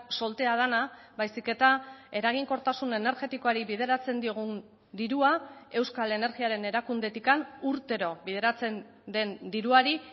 soltea dena baizik eta eraginkortasun energetikoari bideratzen diogun dirua euskal energiaren erakundetik urtero bideratzen den diruari